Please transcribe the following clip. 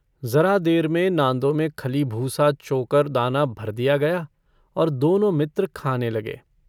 ज़रा देर में नाँदों में खली-भूसा चोकर-दाना भर दिया गया और दोनों मित्र खाने लगे।